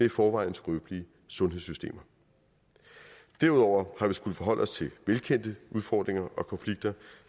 i forvejen skrøbelige sundhedssystemer derudover har vi skullet forholde os til velkendte udfordringer og konflikter